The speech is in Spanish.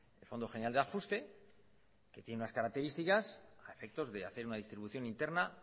el fondo general de ajuste que tiene unas características a efectos de hacer una distribución interna